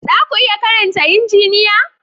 Za ku iya karanta Injiniya?